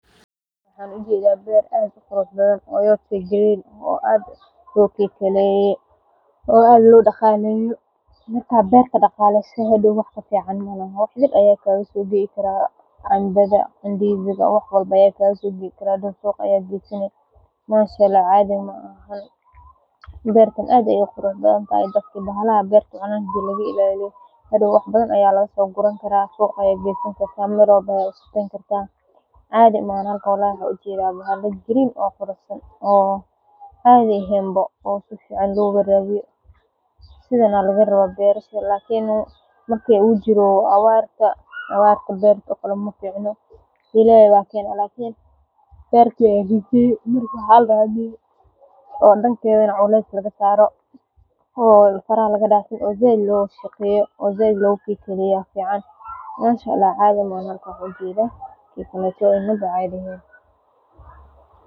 Waxan ujeda beer aad uqurxbadan oo aad lokikaleye, aad lodagaleye wax kafican malaxa, aya kalasobihi karaa, cambada indisiga wax walbo aya kalasobihi karaa, bertan aad ayayuguruxbadantehe.